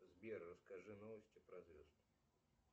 сбер расскажи новости про звезд